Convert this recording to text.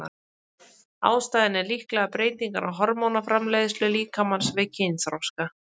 Ástæðan er líklega breytingar á hormónaframleiðslu líkamans við kynþroska.